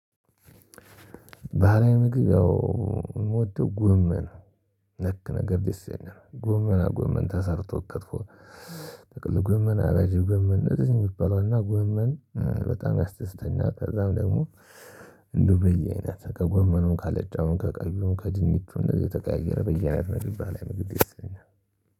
ባህላዊ ምግብ ያው እምወደው ጎመን ነክ ነገር ደስ ይለኛል ጎመና ጎመን ተሰርቶ ክትፎ ጥቅል ጎመን አራጂ ጎመን እንደዚህ የሚባለው እና ጎመን በጣም ያስደስተኛል። ከዛም ደግሞ እንደው በየአይነት ከጎመኑም፣ ካለጫውም፣ ከቀዩም፣ ከድንቹም እንደዚህ የተቀያየረ በየአይነት ምግብ ባህላዊ ምግብ ደስ ይለኛል።